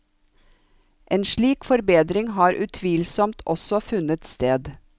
En slik forbedring har utvilsomt også funnet sted.